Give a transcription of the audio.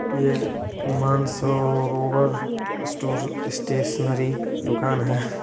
ये Mansarovar store stationery दुकान है ।